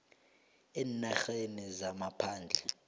eenarheni zangaphandle